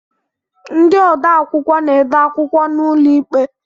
Ndị odeakwụkwọ na-ede akwụkwọ n'ụlọikpe